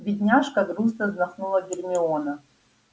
бедняжка грустно вздохнула гермиона